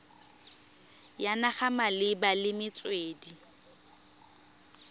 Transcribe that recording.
ya naga malebana le metswedi